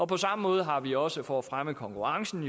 på samme måde har vi også for at fremme konkurrencen